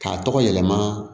K'a tɔgɔ yɛlɛma